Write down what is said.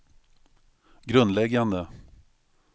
grundläggande